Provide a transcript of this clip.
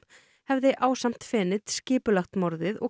hefði ásamt skipulagt morðið og